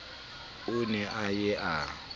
o ne a ye a